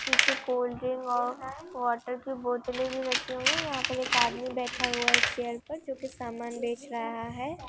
पीछे कोल्डड्रिंक और वाटर की बोतले भी रखी हूई हैं यह पर एक आदमी बैठा हुआ हैं चेयर पर जो की समान बेच रहा है।